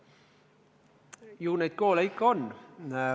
Ju neid koole ikka on.